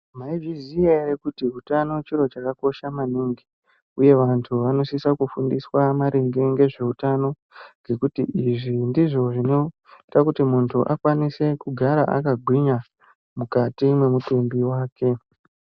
Maizviziya ere kuti hutano chiro chakakosha maningi uye vantu vanosisa kufundiswa maringe ngezveutano izvi ndizvo zvinoita kuti muntu akwanise kugara akagwinya mukati mwemutumbi wake.